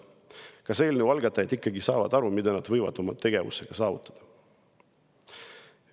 " Kas eelnõu algatajad ikkagi saavad aru, mida nad võivad oma tegevusega saavutada?